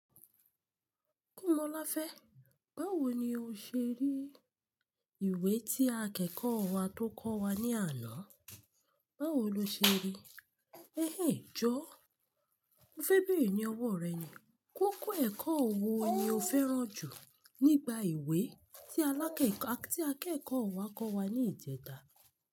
Kómoláfé, báwo ni o ṣe rí ìwé tí akẹ́kọ̀ọ́ wa tó kọ́ wa ní àná? Báwo lo ṣe rí? Jọ́, mo fẹ́ bẹ̀rè ni owọ́ rẹ ni, kókó ẹ̀kọ́ wo ni o fẹ́ràn jù nípa ìwé tí akẹ́kọ̀ọ́ wa kọ́ wa ní ìjẹta?